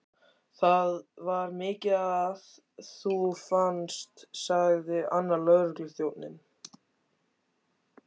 Það var mikið að þú fannst, sagði annar lögregluþjónanna.